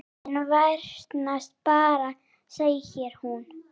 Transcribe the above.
Vandinn versnar bara segir hún.